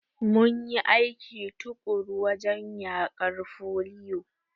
Mum yi aiki tuƙuru wajen yaƙar foliyo.